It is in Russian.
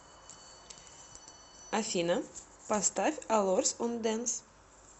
афина поставь алорс он дэнс